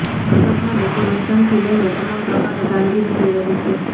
મંડપના ડેકોરેશનથી લઇને તમામ પ્રકારની કામગીરી થઈ રહી છે